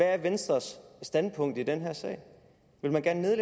er venstres standpunkt i den her sag vil man gerne